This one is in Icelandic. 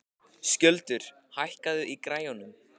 Skjöldur, hækkaðu í græjunum.